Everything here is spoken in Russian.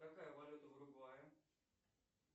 какая валюта в уругвае